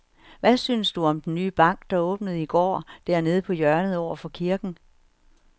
Hvad synes du om den nye bank, der åbnede i går dernede på hjørnet over for kirken?